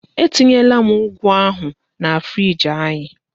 Etinyela m ụ́gù ahụ na friiji anyị.